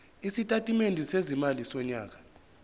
isitatimende sezimali sonyaka